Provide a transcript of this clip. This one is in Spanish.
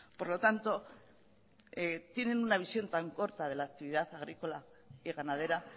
por lo tanto tienen una visión tan corta de la actividad agrícola y ganadera